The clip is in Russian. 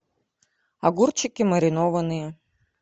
огурчики маринованные